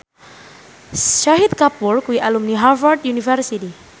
Shahid Kapoor kuwi alumni Harvard university